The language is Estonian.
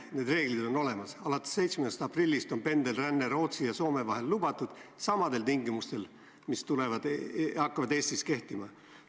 Need reeglid on olemas: alates 7. aprillist on pendelränne Rootsi ja Soome vahel lubatud samadel tingimustel, mis hakkavad Eesti puhul kehtima.